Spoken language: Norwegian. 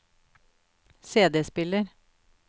CD-spiller